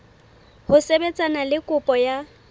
ho sebetsana le kopo ya